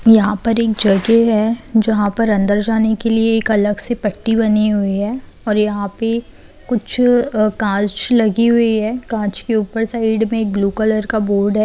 यहां पर एक जगह है जहां पर अंदर जाने के लिए अलग से पट्टी बनी हुई है और यहां पे कुछ कांच लगी हुई है कांच के ऊपर साइड में एक ब्लू कलर का बोर्ड है।